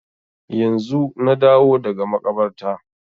Yanzu na dawo daga makabarta